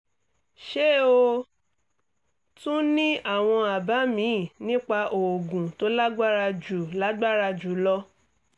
ṣé o tún ní àwọn àbá míì nípa oògùn tó lágbára jù lágbára jù lọ?